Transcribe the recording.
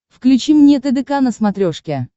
включи мне тдк на смотрешке